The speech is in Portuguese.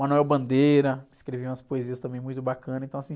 Manuel Bandeira, que escrevia umas poesias também muito bacanas, então assim,